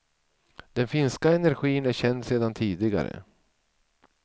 Den finska energin är känd sedan tidigare.